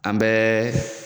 An bɛ